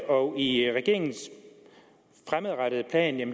og i regeringens fremadrettede plan